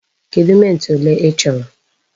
Kedụ mint ole i chọrọ?